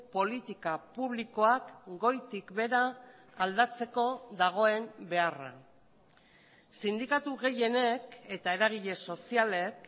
politika publikoak goitik behera aldatzeko dagoen beharra sindikatu gehienek eta eragile sozialek